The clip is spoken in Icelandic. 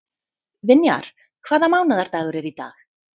Vinjar, hvaða mánaðardagur er í dag?